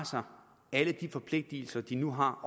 alle de forpligtelser de nu har